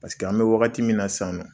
Paseke an be wagati min na sisan nɔ